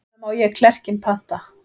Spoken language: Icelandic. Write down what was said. Hvenær má ég klerkinn panta?